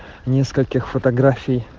нескольких фотографий